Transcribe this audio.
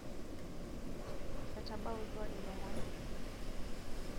etabautua ilomon